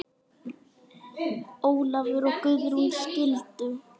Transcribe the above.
Ólafur og Guðrún skildu.